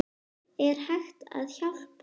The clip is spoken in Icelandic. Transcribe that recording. Er hægt að hjálpa?